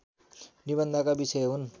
निबन्धका विषय हुन्